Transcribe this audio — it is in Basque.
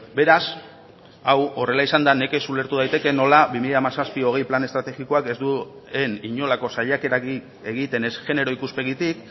beraz hau horrela izanda nekez ulertu daiteke nola bi mila hamazazpi hogei plan estrategikoak ez duen inolako saiakerarik egiten ez genero ikuspegitik